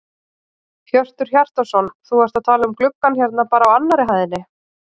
Hjörtur Hjartarson: Þú ert að tala um gluggann hérna bara á annarri hæðinni?